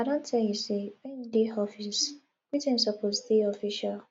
i don tell you sey wen you dey office greeting suppose dey official